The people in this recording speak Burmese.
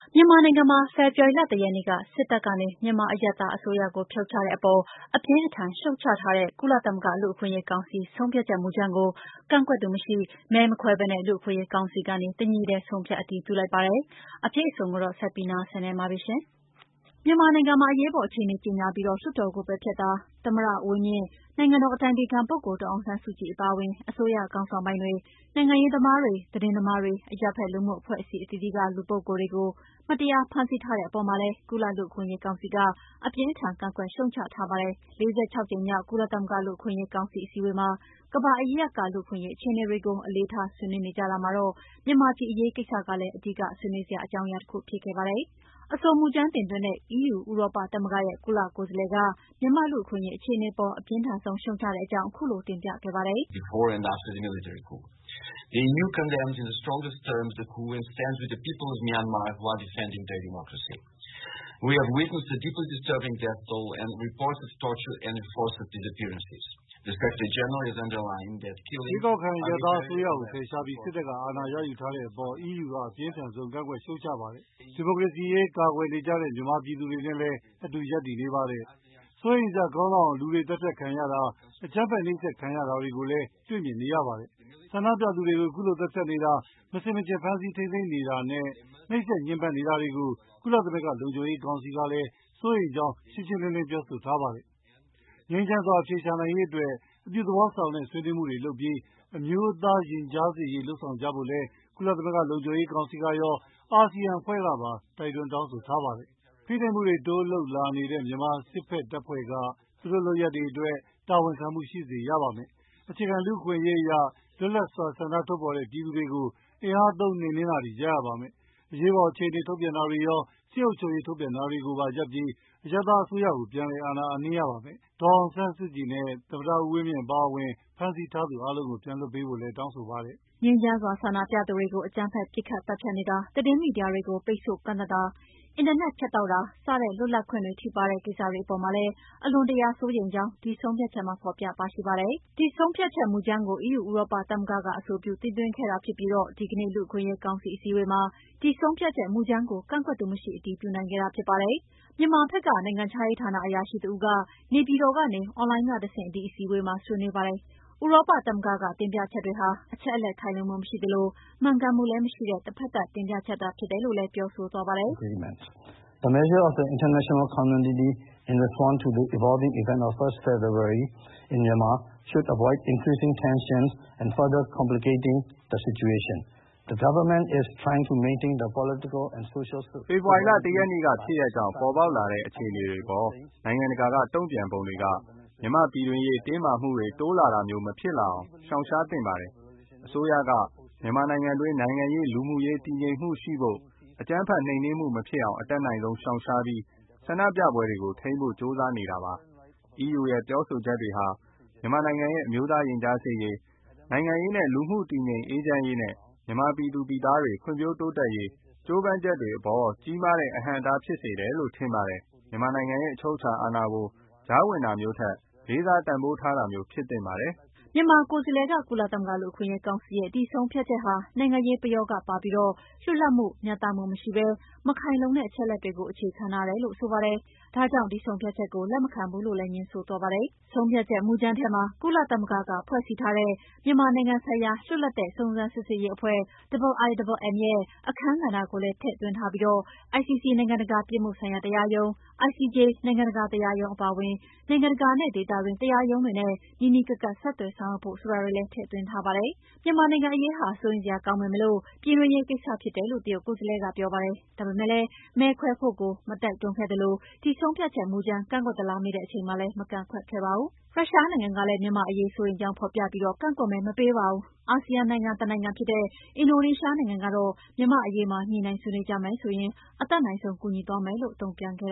မြန်မာနိုင်ငံမှာ ဖေဖော်ဝါရီလ ၁ ရက်နေ့က စစ်တပ်ကနေ မြန်မာအရပ်သားအစိုးရကိုဖြုတ်ချတဲ့အပေါ် အပြင်းအထန်ရှုတ်ချထားတဲ့ ကုလသမဂ္ဂလူ့အခွင့်အရေးကောင်စီ ဆုံးဖြတ်ချက်မူကြမ်းကို ကန့်ကွက်သူမရှိ၊ မဲမခွဲဘဲ လူ့အခွင့်အရေးကောင်စီကနေ တညီတည်း ဆုံးဖြတ်အတည်ပြုလိုက်ပါတယ်။ လူ့အခွင့်အရေးကောင်စီအစည်းအဝေး စောင့်ကြည့်သတင်းယူနေတဲ့ မနန်းလောဝ်ပြောပြမှာပါ။ မြန်မာနိုင်ငံမှာ အရေးပေါ်အခြေအနေကြေညာပြီး လွှတ်တော်ကို ပယ်ဖျက်တာ၊ သမ္မတဦးဝင်းမြင့် နိုင်ငံတော်အတိုင်ပင်ခံပုဂ္ဂိုလ်ဒေါ်အောင်ဆန်းစုကြည်အပါအဝင် အစိုးရခေါင်းဆောင်ပိုင်းတွေ၊ နိုင်ငံရေးသမားတွေ သတင်းသမားတွေ အရပ်ဘက်လူမှုအဖွဲ့အစည်းအသီးသီးက ပုဂ္ဂိုလ်တွေကို မတရားဖမ်းဆီးတဲ့အပေါ်မှာလည်း ကုလလူ့အခွင့်အရေးကောင်စီက အပြင်းအထန်ကန့်ကွက်ရှုတ်ချထားပါတယ်။ လက်ရှိကျင်းပနေတဲ့ ၄၆ ကြိမ်မြောက်ကုလသမဂ္ဂ လူ့အခွင့်အရေးကောင်စီအစည်းအဝေးမှာ ကမ္ဘာအရပ်ရပ်က လူ့အခွင့်အရေးအခြေအနေတွေကို အလေးထားဆွေးနွေးနေကြတာမှာ မြန်မာပြည်အရေးကိစ္စကလည်း အဓိက ဆွေးနွေးစရာအကြောင်းတခုဖြစ်ခဲ့ပါတယ်။ အဆိုမူကြမ်းတင်သွင်းတဲ့ EU ဥရောပသမဂ္ဂရဲ့ ကုလကိုယ်စားလှယ်က မြန်မာ့လူ့အခွင့်အရေးအခြေအနေအပေါ် အပြင်းထန်ဆုံးရှုတ်ချကြောင်း ခုလိုတင်ပြခဲ့ပါတယ်။ “ရွေးကောက်ခံအရပ်သားအစိုးရကို ဖယ်ရှားပြီး စစ်တပ်က အာဏာရယူထားတဲ့အပေါ် အီးယူက အပြင်းထန်ဆုံး ကန့်ကွက်ရှုတ်ချပါတယ်။ ဒီမိုကရေစီရေး ကာကွယ်နေကြတဲ့မြန်မာပြည်သူတွေနဲ့လည်း အတူရပ်တည်နေပါတယ်။ စိုးရိမ်စရာကောင်းလောက်အောင် လူတွေသတ်ဖြတ်ခံနေရတာ၊ အကြမ်းဖက်နှိပ်စက်ခံရတာတွေကိုလည်း တွေ့မြင်နေရပါတယ်။ ဆန္ဒပြပြည်သူတွေကို ခုလိုသတ်ဖြတ်နေတာ၊ မဆင်မခြင်ဖမ်းဆီးထိန်းသိမ်းနေတာနဲ့ နှိပ်စက်ညှဉ်းပန်းနေတာတွေကို ကုလသမဂ္ဂ လုံခြုံရေးကောင်စီကလည်း စိုးရိမ်ကြောင်းရှင်းရှင်းလင်းလင်းပြောဆိုထားပါတယ်။ ငြိမ်းချမ်းစွာအဖြေရှာနိုင်ရေးအတွက် အပြုသဘောဆောင်တဲ့ဆွေးနွေးမှုတွေလုပ်ပြီး အမျိုးသားရင်ကြားစေ့ရေးလုပ်ဆောင်ဖို့ကြဖို့လည်း ကုလသမဂ္ဂလုံခြုံရေးကောင်စီကရော၊ အာဆီယံအဖွဲ့ကပါ တိုက်တွန်းတောင်းဆိုထားပါတယ်။ ဖိနှိပ်မှုတွေ တိုးလုပ်လာနေတဲ့ မြန်မာစစ်ဘက်တပ်ဖွဲ့က သူတို့လုပ်ရပ်အတွက်တာဝန်ခံမှု ရှိစေရပါမယ်။ အခြေခံလူ့အခွင့်အရေးအရ လွတ်လပ်စွာဆန္ဒထုတ်ဖော်တဲ့ပြည်သူတွေကို အင်အားသုံးနှိမ်နင်းတာတွေရပ်ရပါမယ်။ အရေးပေါ်အခြေအနေ ထုတ်ပြန်တာတွေရော စစ်အုပ်ချုပ်ရေးထုတ်ပြန်ထားတာတွေကိုပါရပ်ပြီး အရပ်သားအစိုးရကို ပြန်လည်အာဏာအပ်နှင်းရပါမယ်။ သမ္မတဦးဝင်းမြင့်နဲ့ ဒေါ်အောင်ဆန်းစုကြည်အပါအဝင် ဖမ်းဆီးထားသူအားလုံးကို ပြန်လွှတ်ပေးဖို့လည်းတောင်းဆိုပါတယ်။" ငြိမ်းချမ်းစွာဆန္ဒပြသူတွေကို အကြမ်းဖက်ပစ်ခတ်သတ်ဖြတ်နေတာ၊ သတင်းမီဒီယာတွေကို ပိတ်ဆို့ကန့်သတ်တာ၊ အင်တာနက်ဖြတ်တောက်တာ စတဲ့ လွတ်လပ်ခွင့်တွေ ထိပါးတဲ့ကိစ္စတွေအပေါ်မှာလည်း အလွန်တရာစိုးရိမ်ကြောင်း ဒီ ဆုံးဖြတ်ချက်မှာ ဖော်ပြပါရှိပါတယ်။ ဒီ ဆုံးဖြတ်ချက်မူကြမ်းကို အီးယူ ဥရောပသမဂ္ဂက အဆိုပြု တင်သွင်းခဲ့တာဖြစ်ပြီး ဒီနေ့ လူ့အခွင့်အရေးကောင်စီအစည်းအဝေးမှာ ဒီဆုံးဖြတ်ချက်မူကြမ်းကို ကန့်ကွက်သူမရှိ အတည်ပြုနိုင်ခဲ့တာဖြစ်ပါတယ်။ မြန်ုမာဘက်က နိုင်ငံခြားရေးဌာနအရာရှိတဦးက နေပြည်တော်ကနေ အွန်လိုင်းကတဆင့် ဒီအစည်းအဝေးမှာ ဆွေးနွေးပါတယ်။ ဥရောပသမဂ္ဂက တင်ပြချက်တွေဟာ အချက်အလက်ခိုင်လုံမှုမရှိသလို မှန်ကန်မှုလည်းမရှိတဲ့ တဘက်သတ်တင်ပြချက်တွေသာဖြစ်တယ်လို့လည်း ပြောဆိုသွားပါတယ်။ “ဖေဖော်ဝါရီလ ၁ ရက်နေ့ကဖြစ်ရပ်ကြောင့် ပေါ်ပေါက်လာတဲ့ အခြေအနေတွေအပေါ် နိုင်ငံတကာကတုံ့ပြန်ပုံတွေက မြန်မာ့ပြည်တွင်းရေးတင်းမာမှုတွေ တိုးလာတာမျိုးဖြစ်မလာအောင် ရှောင်ရှားသင့်ပါတယ်။ အစိုးရက မြန်မာနိုင်ငံတွင်းနိုင်ငံရေး၊ လူမှုရေး တည်ငြိမ်မှုရှိဖို့ အကြမ်းဖက်နှိမ်နင်းမှုမဖြစ်အောင် အတတ်နိုင်ဆုံးရှောင်ရှားပြီး ဆနပြပွဲတွေကို ထိန်းဖို့ ကြိုးစားနေတာဖြစ်ပါတယ်။ အီးယူရဲ့ပြောဆိုချက်တွေဟာ မြန်မာနိုင်ငံရဲ့ အမျိုးသားရင်ကြားစေ့ရေး၊ နိုင်ငံရေးနဲ့ လူမှုရေးတည်ငြိမ်အေးချမ်းရေးနဲ့ မြန်မာပြည်သူပြည်သားတွေ ဖွံ့ဖြိုးတိုးတက်ရေး ကြိုးပမ်းချက်တွေအပေါ် ကြီးမားတဲ့ အဟန့်အတားဖြစ်စေတယ်လို့ထင်ပါတယ်။ မြန်မာနိုင်ငံရဲ့အချုပ်အခြာအာဏာကို ကြားဝင်တာမျိုးထက် လေးစားတန်ဖိုးထားတာမျိုးဖြစ်သင့်ပါတယ်။" မြန်မာကိုယ်စားလှယ်က ကုလသမဂ္ဂ လူ့အခွင့်အရေးကောင်စီရဲ့ ဒီဆုံးဖြတ်ချက်ဟာ နိုင်ငံရေးပယောဂပါပြီး လွတ်လပ်မှု မျှတမှုမရှိဘဲ မခိုင်လုံတဲ့အချက်အလက်တွေကို အခြေခံထားတယ်လို့ ဆိုပါတယ်။ ဒါကြောင့် ဒီဆုံးဖြတ်ချက်ကို လက်မခံဘူးလို့ ငြင်းဆိုသွားပါတယ်။ ဆုံးဖြတ်ချက်မူကြမ်းထဲမှာ ကုလသမဂ္ဂက ဖွဲ့စည်းထားတဲ့ မြန်မာနိုင်ငံဆိုင်ရာ လွတ်လပ်တဲ့စုံစမ်းစစ်ဆေးရေးအဖွဲ့ IIMM ရဲ့ အခန်းကဏ္ဍကိုလည်း ထည့်သွင်ထားပြီး ICC နိုင်ငံတကာပြစ်မှုဆိုင်ရာတရားရုံး ICJ နိုင်ငံတကာတရားရုံးအပါအဝင် နိုင်ငံတကာနဲ့ ဒေသတွင်းတရားရုံးတွေနဲ့ နီးနီးကပ်ကပ် ဆက်သွယ်ဆောင်ရွက်ဖို့ဆိုတာတွေကိုပါ ထည့်သွင်းထားပါတယ်။ မြန်မာနိုင်ငံအရေးဟာ စိုးရိမ်စရာကောင်းပေမယ့် ပြည်တွင်းရေးကိစ္စဖြစ်တယ်လို့ တရုတ်ကိုယ်စားလှယ်ပြောပါတယ်။ ဒါပေမဲ့ မဲခွဲဖို့ကို မတိုက်တွန်းခဲ့သလို့ ဒီဆုံးဖြတ်ချက်မူကြမ်း ကန့်ကွက်သလားမေးတဲ့အချိန်မှာလည်း မကန့်ကွက်ခဲ့ပါတယ်။ ရုရှားနိုင်ငံကလည်း မြန်မာ့အရေးစိုးရိမ်ကြောင်းဖော်ပြပြီး ကန့်ကွက်မဲမပေးပါဘူး။ အာဆီယံနိုင်ငံတနိုင်ငံဖြစ်တဲ့ အင်ဒိုနီးရှားနိုင်ငံကတော့ မြန်မာ့အရေးမှာ ညှိနှိုင်းဆွေးနွေးကြမယ်ဆိုရင် အတတ်နိုင်ဆုံးကူညီသွားမယ်လို့ တုံ့ပြန်ခဲ့